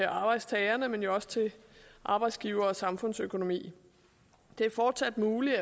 arbejdstagerne men jo også til arbejdsgivere og samfundsøkonomi det er fortsat muligt